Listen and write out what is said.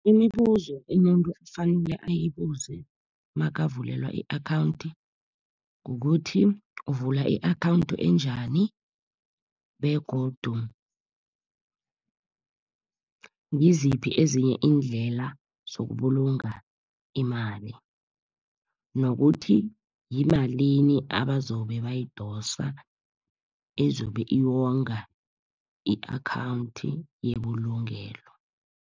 Imibuzo umuntu efanele ayibuze nakavulelwa i-akhawunti kukuthi, uvula i-akhawunthu enjani? Begodu ngiziphi ezinye iindlela zokubulunga imali? Nokuthi yimalini abazobe bayidosa, ezobe yongwa i-akhawunthi yebulungelo?